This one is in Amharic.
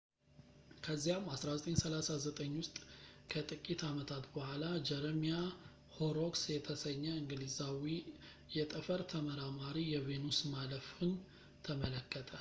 ከዚያም 1639 ውስጥ ከጥቂት ዓመታት በኋላ ጀረሚያ ሆሮክስ የተሰኘ እንግሊዛዊ የጠፈር ተመራማሪ የቬኑስ ማለፍን ተመለከተ